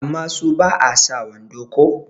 amma su ba a sa wando ko?